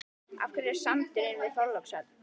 En af hverju sandurinn við Þorlákshöfn?